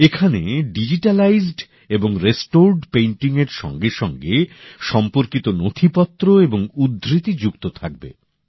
এখানে ডিজিটালাইজড এবং রেস্টোরড পেইন্টিংয়ের সঙ্গেসঙ্গে সম্পর্কিত নথিপত্র এবং উদ্ধৃতি যুক্ত থাকবে